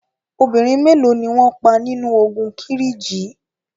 Obìnrin mélo ni wọn pa nínu ogun Kírìjí?